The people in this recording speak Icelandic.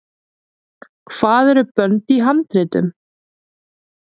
hvað eru bönd í handritum